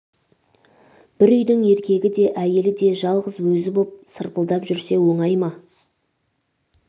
бір үйдің еркегі де әйелі де жалғыз өзі боп сырпылдап жүрсе оңай ма